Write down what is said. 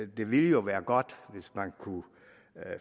det ville jo være godt hvis man kunne